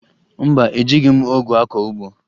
Mba, ejighi m ọgụ akọ ugbo